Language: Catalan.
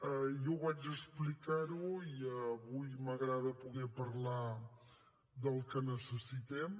jo ho vaig explicar i avui m’agrada poder parlar del que necessitem